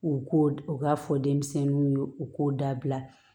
U k'o u k'a fɔ denmisɛnninw ye u k'u dabila